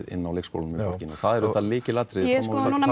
inná leikskólunum í borginni og það er auðvitað lykilatriði ég er